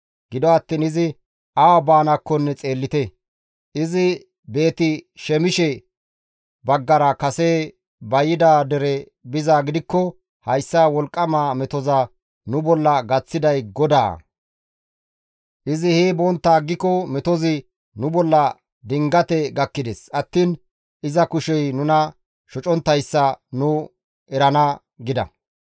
Gido attiin izi awa baanaakko xeellite; izi Beeti-Shemishe baggara kase ba yida dere bizaa gidikko, hayssa wolqqama metoza nu bolla gaththiday GODAA. Izi hee bontta aggiko metozi nu bolla dingate gakkides attiin iza kushey nuna shoconttayssa nu erana» gida.